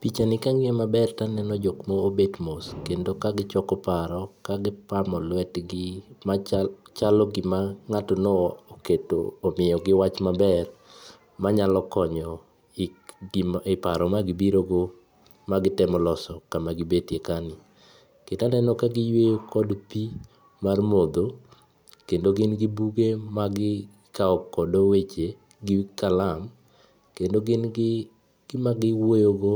Picha ni ka ang'iye maber to aneno jok ma obet mos kendo ka gichoko paro, ka gipamo lwetgi, ma chalo gima ng'ato omiyogi wach maber ma nyalo konyo e paro ma gibirogo ma gitemo loso kama gibetie ka ni. Kendo aneno ka giyweyo kod pii mar modho, kendo gin gi buge magikawogodo weche gi kalam. Kendo gin gi gima giwuoyogo